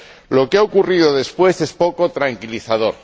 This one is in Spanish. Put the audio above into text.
Lo que ha ocurrido después es poco tranquilizador.